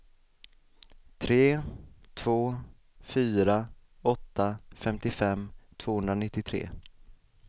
tre två fyra åtta femtiofem tvåhundranittiotre